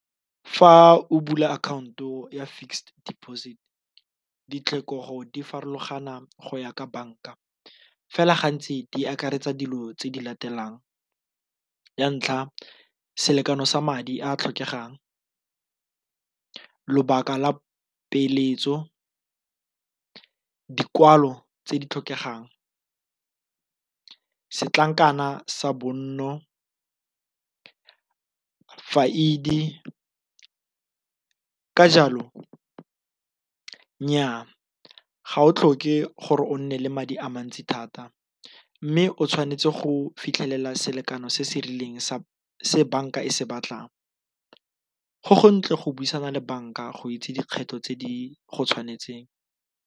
Fa o bula akhaonto ya fixed deposit ditlhokego difarologana go ya ka banka fela gantsi di akaretsa dilo tse di latelang, ya ntlha selekano sa madi a a tlhokegang, lobaka la peeletso, dikwalo tse di tlhokegang, setlankana sa bonno, . Ka jalo nnyaa, ga o tlhoke gore o nne le madi a mantsi thata mme o tshwanetse go fitlhelela selekano se se rileng se banka e se batlang go go ntle go buisana le banka go itse dikgetho tse di go tshwanetseng.